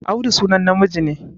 Audu sunan namiji ne